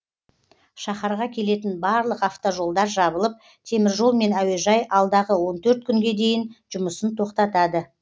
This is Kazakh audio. шаһарға келетін барлық автожолдар жабылып теміржол мен әуежай алдағы он төрт күнге дейін жұмысын тоқтатады